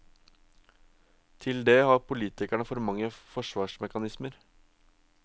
Til det har politikerne for mange forsvarsmekanismer.